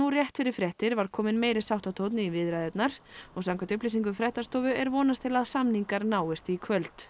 rétt fyrir fréttir var kominn meiri sáttatónn í viðræðurnar og samkvæmt upplýsingum fréttastofu er vonast til að samningar náist í kvöld